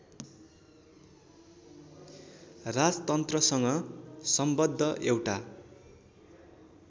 राजतन्त्रसँग सम्बद्ध एउटा